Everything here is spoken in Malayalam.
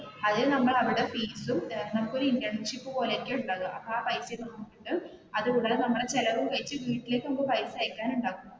അതിൽ നമ്മൾ അവിടെ ഫീസും നമുക്ക് ഒരു ഇൻറ്റേൺ ഷിപ്പ് പോലെയൊക്കെയാണ് ഉണ്ടാവുക അപ്പൊ ആ പൈസ നമ്മുടെ ചിലവും കഴിഞ്ഞു വീട്ടിലേക്ക് പൈസ അയക്കാൻ ഉണ്ടാവും.